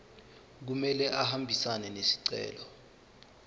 kumele ahambisane nesicelo